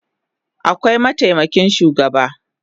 Akwai mataimakin shugaba